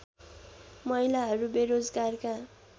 महिलाहरू बेरोजगारका